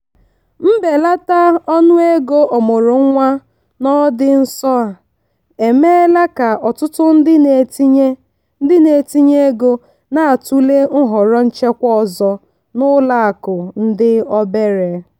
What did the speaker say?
mbelata ọnụego ọmụrụ nwa n'ọdị nso a emeela ka ọtụtụ ndị na-etinye ndị na-etinye ego na-atụle nhọrọ nchekwa ọzọ n'ụlọakụ ndị obere.